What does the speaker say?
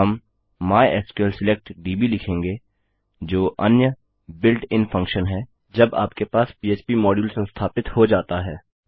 हम MySQL select DB लिखेंगे जो अन्य built इन फंक्शन है जब आपके पास पह्प मॉड्यूल संस्थापित हो जाता है